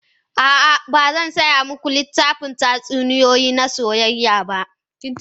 A'a, ba zan saya muku littafin tatsuniyoyi na soyayya ba.